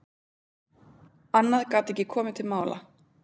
Annað gat ekki komið til mála.